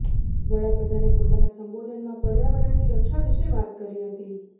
વડાપ્રધાનએ પોતાના સંબોધનમાં પર્યાવરણની રક્ષા વિશે વાત કરી હતી